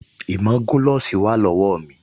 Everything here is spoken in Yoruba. Ìmágoloṣí wà lọ́wọ́ mi